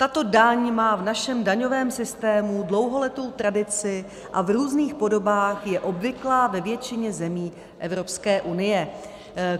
Tato daň má v našem daňovém systému dlouholetou tradici a v různých podobách je obvyklá ve většině zemí Evropské unie.